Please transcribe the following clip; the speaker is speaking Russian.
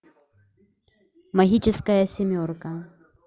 магическая семерка